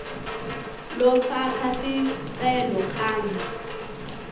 lofaka sicelo kanye